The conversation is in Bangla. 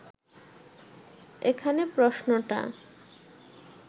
এখানে প্রশ্নটা